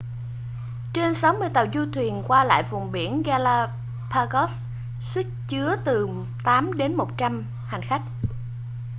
trên 60 tàu du thuyền qua lại vùng biển galapagos sức chứa từ 8 đến 100 hành khách